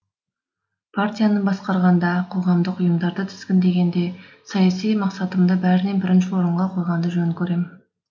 партияны басқарғанда қоғамдық ұйымдарды тізгіндегенде саяси мақсатымды бәрінен бірінші орынға қойғанды жөн көрем